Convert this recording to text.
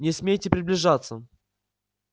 не смейте приближаться